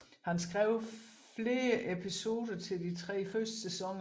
Han skrev flere fv episodene til de tre første sæsoner